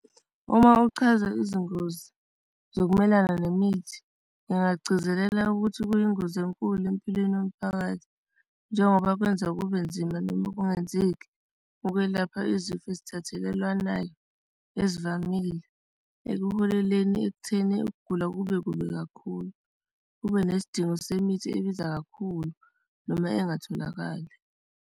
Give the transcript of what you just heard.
Uma uchaza izingozi zokumelana nemithi, ngingagcizelela ukuthi kuyingozi enkulu empilweni yomphakathi njengoba kwenza kube nzima noma kungenzeki ukwelapha izifo esithathekelwanayo ezivamile ekuholeleni ekutheni ukugula kube kubi kakhulu, kube nesidingo semithi ebiza kakhulu noma engatholakali.